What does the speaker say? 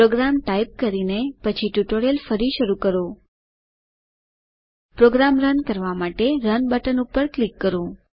programme type કરીને પછી tutorial ફરી શરૂ કરો પ્રોગ્રામ રન કરવા માટે રન બટન પર ક્લિક કરો